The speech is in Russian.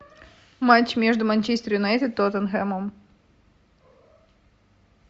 матч между манчестер юнайтед и тоттенхэмом